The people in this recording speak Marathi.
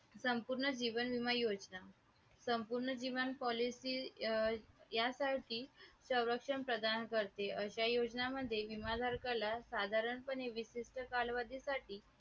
अलीकडे रिझर्व बँक आणि भारत शासन या दोघांच्या प्रतिनिधित्वाने काही नवीन साहित्य संस्था उदयास आल्या आहेत. जसे मौद्रिक धोरण समिती आणि वित्तीय सेवा संस्था बिरो